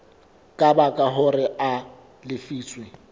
ka baka hore a lefiswe